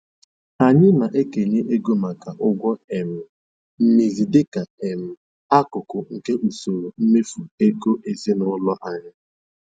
Anyị na-ekenye ego maka ụgwọ um mmezi dịka um akụkụ nke usoro mmefu ego ezinụlọ anyị.